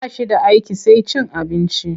Ba shi da aiki sai cin abinci.